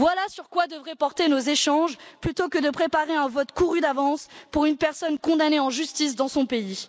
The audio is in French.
Voilà sur quoi devraient porter nos échanges plutôt que de préparer un vote couru d'avance pour une personne condamnée en justice dans son pays.